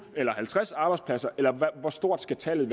eller halvtreds arbejdspladser eller hvor stort tallet